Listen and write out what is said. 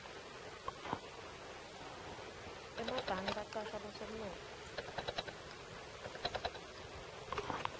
emabhange bacasha bosomnotfo